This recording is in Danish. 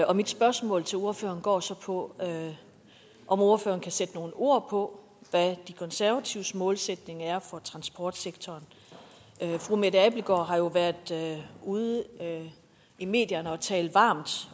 år mit spørgsmål til ordføreren går så på om ordføreren kan sætte nogle ord på hvad de konservatives målsætning er for transportsektoren fru mette abildgaard har jo været ude i medierne og talt varmt